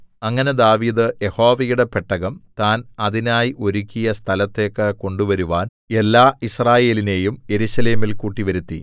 അങ്ങനെ ദാവീദ് യഹോവയുടെ പെട്ടകം താൻ അതിനായി ഒരുക്കിയ സ്ഥലത്തേക്ക് കൊണ്ടുവരുവാൻ എല്ലാ യിസ്രായേലിനെയും യെരൂശലേമിൽ കൂട്ടിവരുത്തി